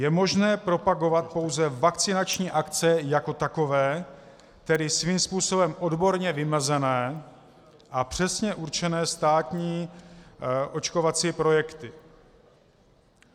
Je možné propagovat pouze vakcinační akce jako takové, tedy svým způsobem odborně vymezené a přesně určené státní očkovací projekty.